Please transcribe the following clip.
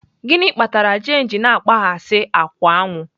Gịnị kpatara jane ji na-akpaghasị akwụ aṅụ?